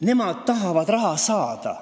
Nemad tahavad raha saada.